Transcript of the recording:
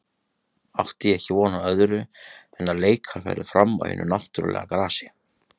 Átti ég ekki von á öðru en að leikar færu fram á hinu náttúrulega grasi.